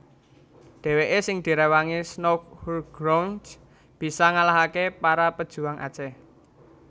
Dhèwèké sing diréwangi Snouck Hurgronje bisa ngalahaké para pejuang Aceh